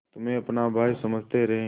तुम्हें अपना भाई समझते रहे